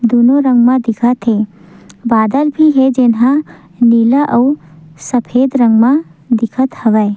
दोनों रंग म दिखत हे बादल भी हे जेन हा नीला अउ सफेद रंग मा दिखत हवय।